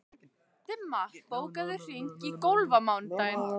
Dimma, bókaðu hring í golf á mánudaginn.